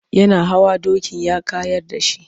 Yana hawa dokin ya kayar da shi.